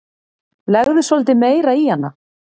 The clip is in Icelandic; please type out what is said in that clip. Legðu svolítið meira í hana.